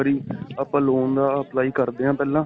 ਇੱਕ ਵਾਰੀ ਆਪਾਂ loan ਦਾ apply ਕਰਦੇ ਹਾਂ ਪਹਿਲਾਂ .